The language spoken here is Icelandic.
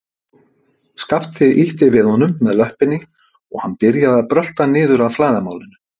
Skapti ýtti við honum með löppinni og hann byrjaði að brölta niður að flæðarmálinu.